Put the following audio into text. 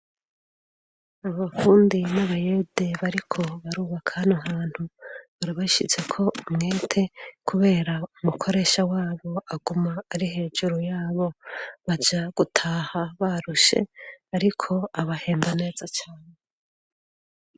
abavundi n'abayede bariko arubaka hano hantu barabashyitse ko mwete kubera umukoresha wabo aguma ari hejuru yabo baja gutaha barushe ariko abahemba neza cyane